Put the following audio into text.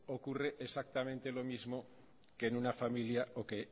ocurren exactamente lo mismo que en una familia o que